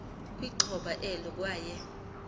kwixhoba elo kwaye